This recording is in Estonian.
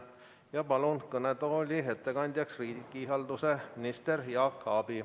Ma palun kõnetooli ettekandjaks riigihalduse ministri Jaak Aabi.